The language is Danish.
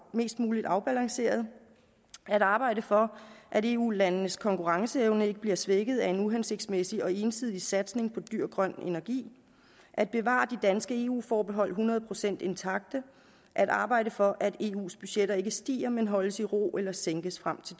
mest muligt afbalanceret at arbejde for at eu landenes konkurrenceevne ikke bliver svækket af en uhensigtsmæssig og ensidig satsning på dyr grøn energi at bevare de danske eu forbehold hundrede procent intakte og at arbejde for at eus budgetter ikke stiger men holdes i ro eller sænkes frem til